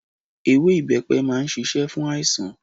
Ewé ibepe máa ń ṣíṣe fún àìsàn.